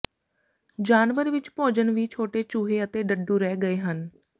ਜਾਨਵਰ ਵਿੱਚ ਭੋਜਨ ਵੀ ਛੋਟੇ ਚੂਹੇ ਅਤੇ ਡੱਡੂ ਰਹਿ ਗਏ ਹਨ